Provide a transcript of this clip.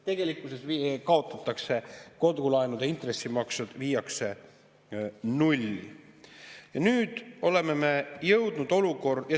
Tegelikkuses kaotatakse see ja kodulaenude intressimaksete on null.